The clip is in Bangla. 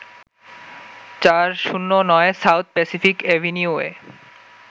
৪০৯ সাউথ প্যাসিফিক অ্যাভিনিউয়ে